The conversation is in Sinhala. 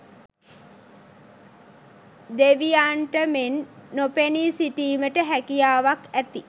දෙවියන්ට මෙන් නොපෙනී සිටීමට හැකියාවක් ඇති,